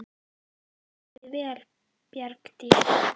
Þú stendur þig vel, Bjargdís!